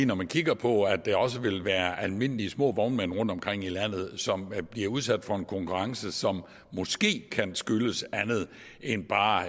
når man kigger på at der også vil være almindelige små vognmænd rundtomkring i landet som bliver udsat for en konkurrence som måske kan skyldes andet end bare